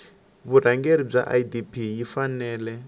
vurhangeri bya idp yi fanele